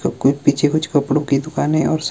सब कोई पिछे कुछ कपड़ों की दुकानें और स--